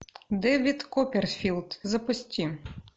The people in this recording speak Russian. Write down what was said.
дэвид копперфильд запусти